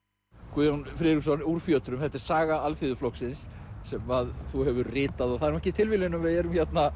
Guðjón Friðriksson úr fjötrum þetta er saga Alþýðuflokksins sem þú hefur ritað og það er ekki tilviljun að við erum hérna